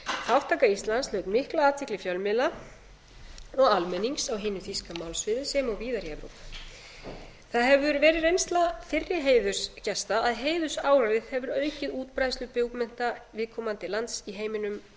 þátttaka íslands hlaut mikla athygli fjölmiðla og almennings á hinu þýska málsvæði sem og víðar í evrópu það hefur verið reynsla fyrri heiðursgesta að heiðursálagið hefur aukið útbreiðslu bókmennta viðkomandi lands í heiminum